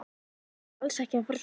Þetta átti alls ekki að fara svona.